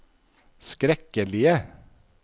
skrekkelige